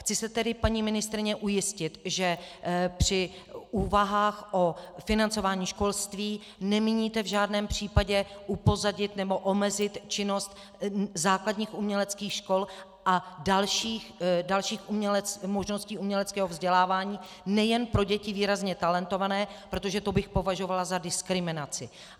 Chci se tedy, paní ministryně, ujistit, že při úvahách o financování školství nemíníte v žádném případě upozadit nebo omezit činnost základních uměleckých škol a dalších možností uměleckého vzdělávání nejen pro děti výrazně talentované, protože to bych považovala za diskriminaci.